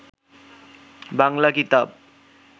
বাংলা কিতাব